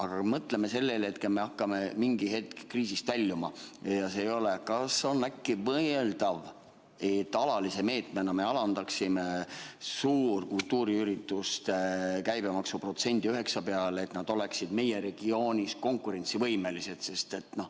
Kui me mõtleme sellele, et me hakkame mingil hetkel kriisist väljuma, siis kas on äkki mõeldav, et me alalise meetmena alandaksime suurte kultuuriürituste käibemaksu 9% peale, et nad oleksid meie regioonis konkurentsivõimelised?